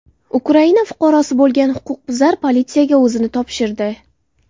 Ukraina fuqarosi bo‘lgan huquqbuzar politsiyaga o‘zini topshirdi.